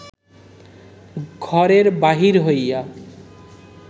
ঘরের বাহির হইয়া